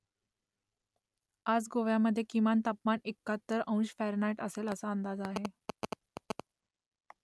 आज गोव्यामधे किमान तापमान एक्काहत्तर अंश फॅरनहाईट असेल असा अंदाज आहे